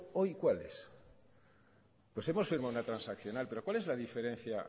hoy cuál es pues hemos firmado una transaccional pero cuál es la diferencia